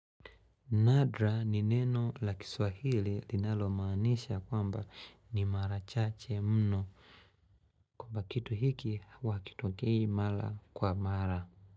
Nadra ni neno la kiswahili linalo maanisha kwamba ni marachache mno kwamba kitu hiki hua hakitokei mara kwa mara.